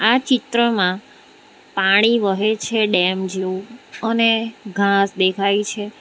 આ ચિત્રમાં પાણી વહે છે ડેમ જેવું અને ઘાસ દેખાય છે.